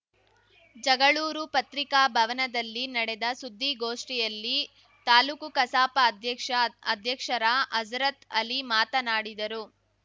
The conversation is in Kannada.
ಜಗಳೂರು ಪತ್ರಿಕಾಭವನದಲ್ಲಿ ನಡೆದ ಸುದ್ದಿಗೋಷ್ಠಿಯಲ್ಲಿ ತಾಲೂಕು ಕಸಾಪ ಅಧ್ಯಕ್ಷ ಅಧ್ಯಕ್ಷರ ಹಜರತ್‌ಅಲಿ ಮಾತನಾಡಿದರು